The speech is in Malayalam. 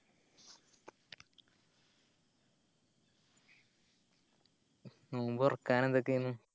നോമ്പ്തൊറക്കാൻ എന്തൊക്കെയെന്